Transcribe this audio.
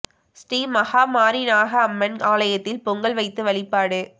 ஸ்ரீ மகாமாரி நாக அம்மன் ஆலயத்தில் பொங்கல் வைத்து வழிபாடு